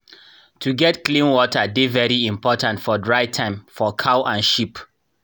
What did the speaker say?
to get clean water dey very important for dry time for cow and sheep.